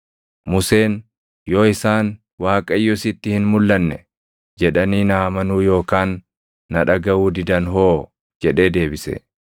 Museen, “Yoo isaan, ‘ Waaqayyo sitti hin mulʼanne’ jedhanii na amanuu yookaan na dhagaʼuu didan hoo?” jedhee deebise.